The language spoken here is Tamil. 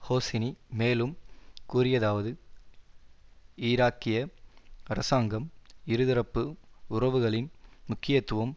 ஹோசினி மேலும் கூறியதாவது ஈராக்கிய அரசாங்கம் இருதரப்பு உறவுகளின் முக்கியத்துவம்